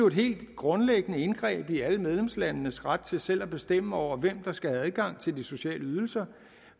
et helt grundlæggende indgreb i alle medlemslandenes ret til selv at bestemme over hvem der skal have adgang til de sociale ydelser